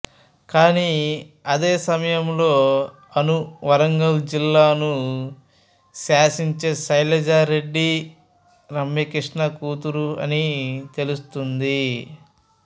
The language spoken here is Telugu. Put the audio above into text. కానీ అదే సమయంలో అను వరంగల్ జిల్లాను శాసించే శైలజా రెడ్డిరమ్యకృష్ణ కూతురు అని తెలుస్తోంది